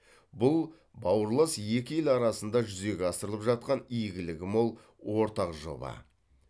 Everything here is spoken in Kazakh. бұл бауырлас екі ел арасында жүзеге асырылып жатқан игілігі мол ортақ жоба